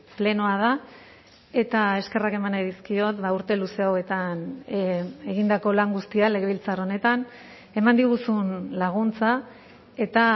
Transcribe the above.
plenoa da eta eskerrak eman nahi dizkiot urte luze hauetan egindako lan guztia legebiltzar honetan eman diguzun laguntza eta